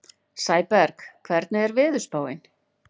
Sæberg, hvernig er veðurspáin?